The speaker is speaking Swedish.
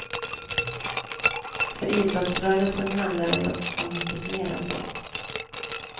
För idrottsrörelsen handlar det dock om mycket mer än så.